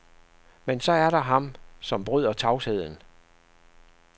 Men så er der ham, som bryder tavsheden.